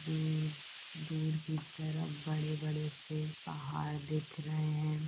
दूर दूर की तरफ बड़े बड़े से पहाड़ दिख रहे है।